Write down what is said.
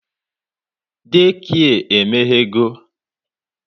Daycare emeghego